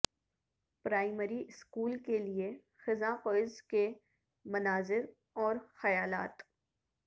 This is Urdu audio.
پرائمری اسکول کے لئے خزاں کوئز کے مناظر اور خیالات